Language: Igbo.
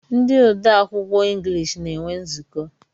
Ndi ode akwụkwọ englishi na-enwe nzuko